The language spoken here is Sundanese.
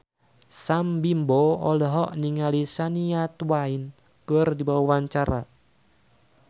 Sam Bimbo olohok ningali Shania Twain keur diwawancara